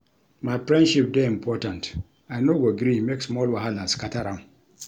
My friendship dey important, I no go gree make small wahala scatter am.